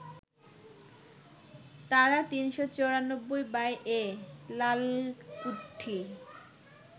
তারা ৩৯৪/এ, লালকুঠি